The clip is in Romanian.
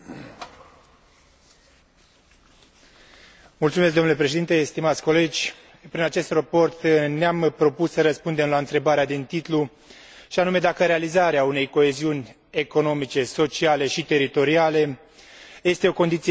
Prin acest raport ne am propus să răspundem la întrebarea din titlu, și anume dacă realizarea unei coeziuni economice, sociale și teritoriale este o condiție sine qua non a competitivității globale în Uniunea Europeană,